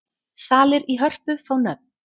Salir í Hörpu fá nöfn